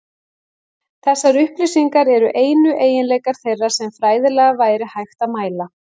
Þessar upplýsingar eru einu eiginleikar þeirra sem fræðilega væri hægt að mæla.